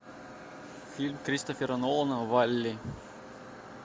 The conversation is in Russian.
фильм кристофера нолана валли